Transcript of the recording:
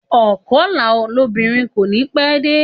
Ònkọlà lóbìnrin kò ní pẹ́ dé